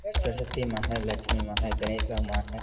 सरस्वती मां है लक्ष्मी मां है गणेश भगवान है।